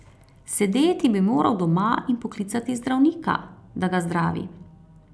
Sedeti bi moral doma in poklicati zdravnika, da ga zdravi ...